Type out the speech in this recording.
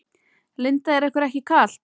Linda: Er ykkur ekki kalt?